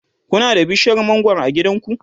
Kuna da bishiyar mangwaro a gidanku?